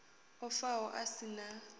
o faho a si na